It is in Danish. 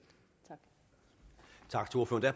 tak